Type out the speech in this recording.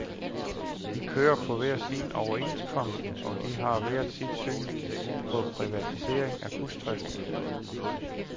De kører på hver sin overenskomst, og de har hver sit syn på privatisering af busdriften.